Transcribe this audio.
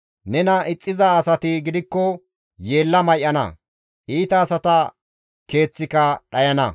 Nena ixxiza asati gidikko yeella may7ana; iita asata keeththika dhayana.»